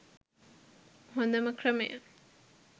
හොදම ක්‍රමය.